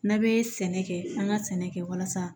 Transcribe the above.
N'a bɛ sɛnɛ kɛ an ka sɛnɛ kɛ walasa